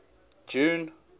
june